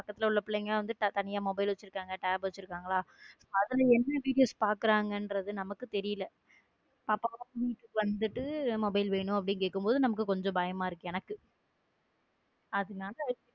பக்கத்துல உள்ள பிள்ளைகள் எல்லாம் வந்து தனியா mobile வச்சிருக்காங்க tab வச்சிருக்காங்க அதுல என்ன video ஸ் பாக்குறாங்கறது நமக்கு தெரியல பாப்பா வந்துட்டு mobile வேணும்னு கேட்கும் போது நமக்கு கொஞ்சம் பயமா இருக்கு எனக்க அதனால.